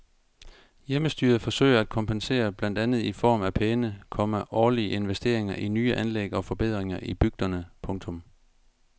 Hjemmestyret forsøger at kompensere blandt andet i form af pæne, komma årlige investeringer i nye anlæg og forbedringer i bygderne. punktum